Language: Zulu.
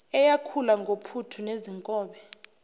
eyakhula ngophuthu nezinkobe